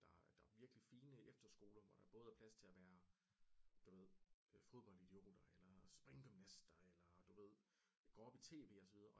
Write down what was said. Der der er virkeligt fine efterskoler hvor der både er plads til og være du ved fodboldidioter eller springgymnaster eller du ved går op i TV og så videre